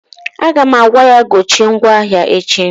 Aga m agwa ya gochie ncha ahụ echi!